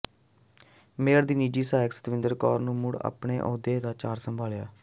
mayor ਦੀ ਨਿੱਜੀ ਸਹਾਇਕ ਸਤਵਿੰਦਰ ਕੌਰ ਨੇ ਮੁੜ ਆਪਣੇ ਅਹੁਦੇ ਦਾ ਚਾਰਜ ਸੰਭਾਲਿਆ